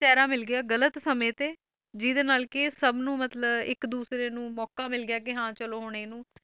ਚਿਹਰਾ ਮਿਲ ਗਿਆ ਗ਼ਲਤ ਸਮੇਂ ਤੇ ਜਿਹਦੇ ਨਾਲ ਕਿ ਸਭ ਨੂੰ ਮਤਲਬ ਇੱਕ ਦੂਸਰੇ ਨੂੰ ਮੌਕਾ ਮਿਲ ਗਿਆ ਕਿ ਹਾਂ ਚਲੋ ਹੁਣ ਇਹਨੂੰ